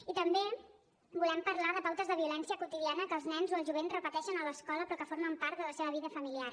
i també volem parlar de pautes de violència quotidiana que els nens o el jovent repeteixen a l’escola però que formen part de la seva vida familiar